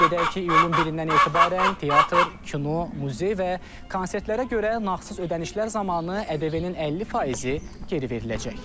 Qeyd edək ki, iyulun 1-dən etibarən teatr, kino, muzey və konsertlərə görə nağdsız ödənişlər zamanı ƏDV-nin 50 faizi geri veriləcək.